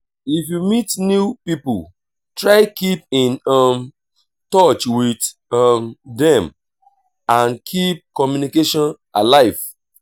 if you meet new pipo try keep in um touch with um dem and keep communication alive